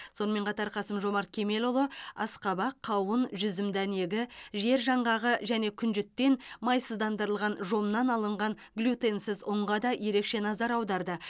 сонымен қатар қасым жомарт кемелұлы асқабақ қауын жүзім дәнегі жер жаңғағы және күнжіттен майсыздандырылған жомнан алынған глютенсіз ұнға да ерекше назар аударды